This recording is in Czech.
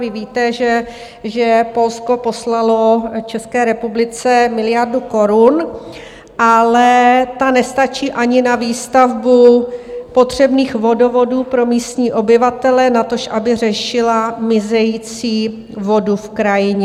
Vy víte, že Polsko poslalo České republice miliardu korun, ale ta nestačí ani na výstavbu potřebných vodovodů pro místní obyvatele, natož aby řešila mizející vodu v krajině.